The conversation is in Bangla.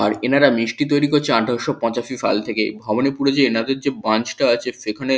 আর এনারা মিষ্টি তৈরি করছে আঠেরোশো পঁচাশি সাল থেকে ভবানীপুরে যে এনাদের যে ব্রাঞ্চ -টা আছে সেখানে--